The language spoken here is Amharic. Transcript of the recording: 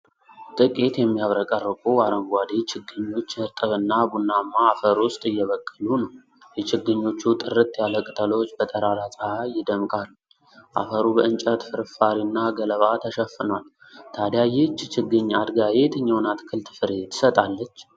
ጥቂት የሚያብረቀርቁ አረንጓዴ ችግኞች እርጥብና ቡናማ አፈር ውስጥ እየበቀሉ አሉ። የችግኞቹ ጥርት ያለ ቅጠሎች በጠራራ ፀሐይ ይደምቃሉ፤ አፈሩ በእንጨት ፍርፋሪና ገለባ ተሸፍኗል። ታዲያ ይህች ችግኝ አድጋ የየትኛውን አትክልት ፍሬ ትሰጣለች?